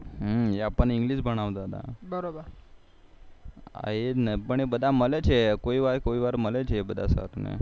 એ આપણ ને ENGLISH ભણાવતા હા એ જ ને બધા મળે છે એક વાર